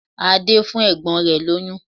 Ade impregnated his sister